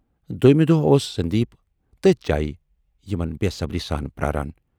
دویمہِ دۅہ اوس سندیٖپ تٔتھۍ جایہِ یِمن بے صبری سان پراران۔